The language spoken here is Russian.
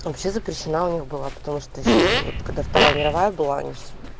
вообще запрещено у них было потому что ещё вот когда вторая мировая была